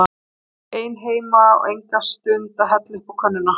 Ég er ein heima og enga stund að hella uppá könnuna.